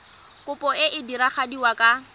kopo e e diragadiwa ka